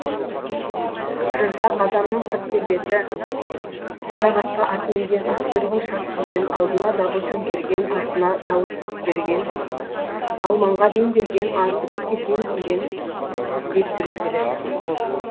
жырда қазанның сырт келбеті қарақасқа ат мінген ат құйрығын шарт түйген алдына дабыл төңкерген артына сауыт бөктерген алманға дем берген азды көпке тең көрген деп суреттеледі